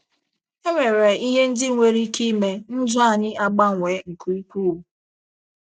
E nwere ihe ndị nwere ike ime, ndụ anyị agbanwee nke ukwuu.